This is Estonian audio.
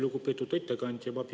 Lugupeetud ettekandja!